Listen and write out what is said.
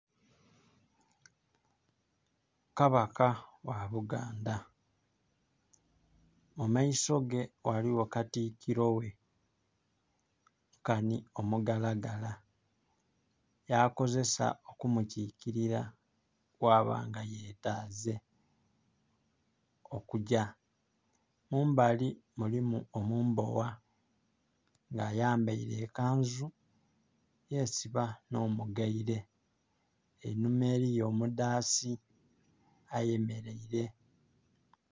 Kabaka wa Buganda. Mu maiso ge waliwo katikiro we nkanhi omugalagala, yakozesa okumukikilira ghaba nga yetaaze okugya. Mumbali mulimu omumbowa nga ayambaile ekanzu, yesiba nh'omugaire. Einhuma eliyo omudhaasi ayemeleire.